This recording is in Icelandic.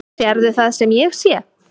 Sérðu það sem ég sé?